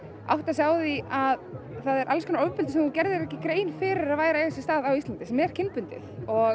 áttað sig á því að það er alls konar ofbeldi sem þú gerðir þér ekki grein fyrir að væri að eiga sér stað á Íslandi sem er kynbundið